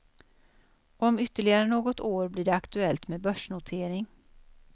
Om ytterligare något år blir det aktuellt med börsnotering.